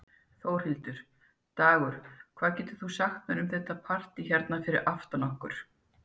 Þórhildur: Dagur, hvað getur þú sagt mér um þetta partý hérna fyrir aftan okkur?